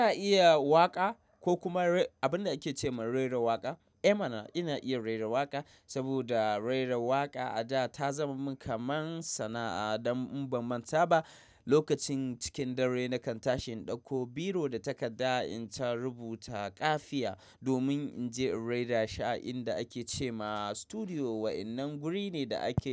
Ina iya waƙa ko kuma abun da ake cewa rera waƙa. Eh mana ina iya rera waƙa saboda rera waƙa a da ta zamo min kamar sana'a. Dan in ban mata ba lokacin cikin dare nakan tashi in ɗauko biro da takarda in ta rubuta ƙafiya domin inje in rera shi a inda ake cema studio wannan guri ne da ake.